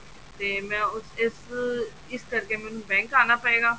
ਤੇ ਮੈਂ ਉਸ ਇਸ ਕਰਕੇ ਮੈਨੂੰ bank ਆਣਾ ਪਏਗਾ